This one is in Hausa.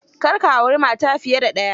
Kar ka auri mata fiye da ɗaya.